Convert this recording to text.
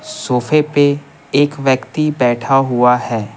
सोफे पे एक व्यक्ति बैठा हुआ है।